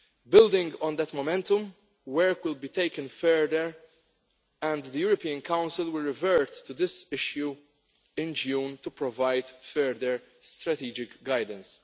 Building on that momentum, work will be taken further and the European Council will revert to this issue in June to provide further strategic guidance.